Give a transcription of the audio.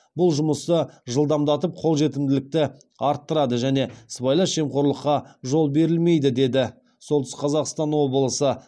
бұл жұмысты жылдамдатып қолжетімділікті арттырады және сыбайлас жемқорлыққа жол берілмейді дейді солтүстік қазақстан облысы